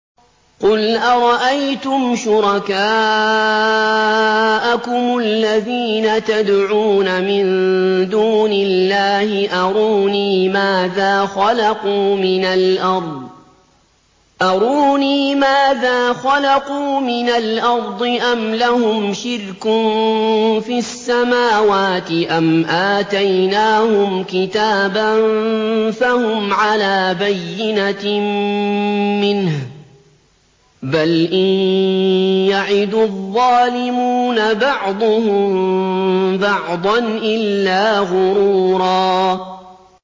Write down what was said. قُلْ أَرَأَيْتُمْ شُرَكَاءَكُمُ الَّذِينَ تَدْعُونَ مِن دُونِ اللَّهِ أَرُونِي مَاذَا خَلَقُوا مِنَ الْأَرْضِ أَمْ لَهُمْ شِرْكٌ فِي السَّمَاوَاتِ أَمْ آتَيْنَاهُمْ كِتَابًا فَهُمْ عَلَىٰ بَيِّنَتٍ مِّنْهُ ۚ بَلْ إِن يَعِدُ الظَّالِمُونَ بَعْضُهُم بَعْضًا إِلَّا غُرُورًا